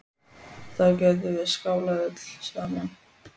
Þá getum við skálað öll saman.